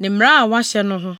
ne mmara a wɔahyɛ no ho.